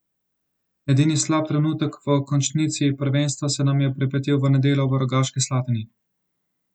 Edini slab trenutek v končnici prvenstva se nam je pripetil v nedeljo v Rogaški Slatini.